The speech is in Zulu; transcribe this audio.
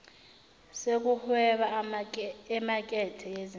sokuhweba emakethe yezimali